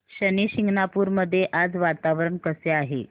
शनी शिंगणापूर मध्ये आज वातावरण कसे आहे